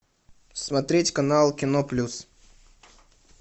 смотреть канал кино плюс